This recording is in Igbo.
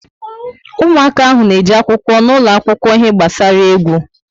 Ụmụaka ahụ na eje akwụkwọ n'ulo akwụkwọ ihe gbasara égwu